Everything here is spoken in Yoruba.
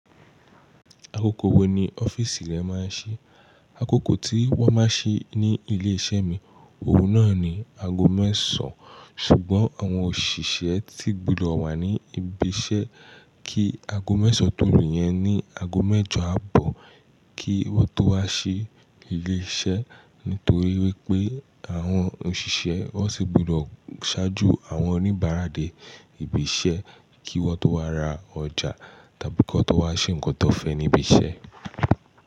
Akókò wo ni ọ́fíìsì rẹ máa ń ṣí? Akókò tí wọ́n máa ń ṣí ní ilé iṣẹ́ mi, òun náà ni ago mẹ́sàn-án, ṣùgbọ́n àwọn òṣìṣẹ́ tí gbudọ̀ wà ní ibi iṣẹ́ kí ago mẹ́sàn-án tó lu yẹn ní ago mẹ́jọ àbọ̀ kí wọ́n tó wá sí ilé iṣẹ́. Nítorí wípé àwọn òṣìṣẹ́ ó sì gbọ́dọ̀ ṣáájú àwọn oníbàárà dé ibi iṣẹ́ kí wọ́n tó wá ra ọjà tàbí kí wọ́n tó wá ṣe nǹkan tó fẹ́ ní ibi iṣẹ́